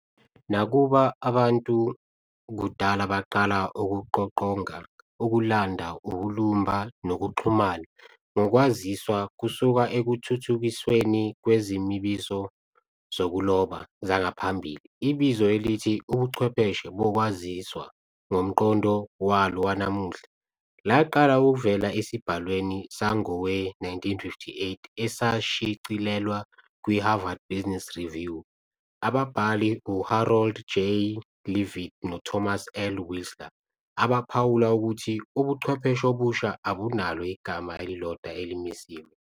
Nakuba abantu kudala baqala ukuqoqonga, ukulanda, ukulumba, nokuxhumana ngokwaziswa kusuka ekuthuthukisweni kwezimiso zokuloba zangaphambili, ibizo elithi "ubuchwepheshe bokwaziswa" ngomqondo walo wanamuhla laqala ukuvela esibhalweni sangowe-1958 esashicilelwa kwi-"Harvard Business Review", ababhali u-Harold J. Leavitt no-Thomas L. Whisler abaphawula ukuthi "ubuchwepheshe obusha abunalo igama elilodwa elimisiwe.